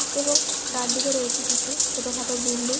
এবং ডান দিকে রয়েছে কিছু ছোট খাটো বিল্ডিং ।